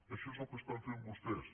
això és el que estan fent vostès